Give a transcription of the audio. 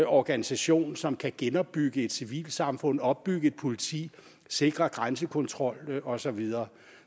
organisation som kan genopbygge et civilsamfund opbygge et politi sikre grænsekontrol og så videre